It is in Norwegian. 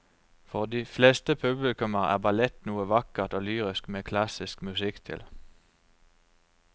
For de fleste publikummere er ballett noe vakkert og lyrisk med klassisk musikk til.